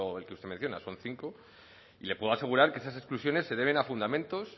el que usted menciona son cinco y le puedo asegurar que esas exclusiones se deben a fundamentos